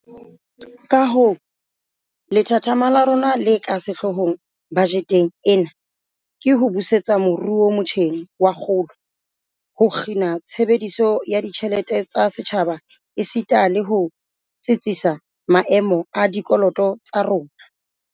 Kahoo, lethathama la rona le ka sehloohong bajeteng ena ke ho busetsa moruo motjheng wa kgolo, ho kgina tshebediso ya ditjhelete tsa setjhaba esita le ho tsitsisa maemo a dikoloto tsa rona.